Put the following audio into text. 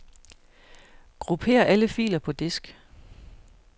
Grupper alle filer på disk.